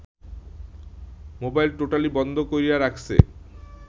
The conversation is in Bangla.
মোবাইল টোটালি বন্ধ কইরা রাখসে